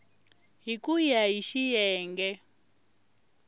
hi ku ya hi xiyenge